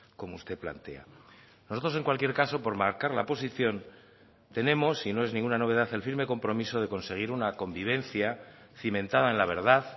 como usted plantea nosotros en cualquier caso por marcar la posición tenemos y no es ninguna novedad el firme compromiso de conseguir una convivencia cimentada en la verdad